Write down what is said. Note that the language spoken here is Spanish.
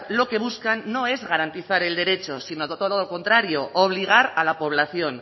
lo que buscan no es garantizar el derecho sino todo lo contrario obligar a la población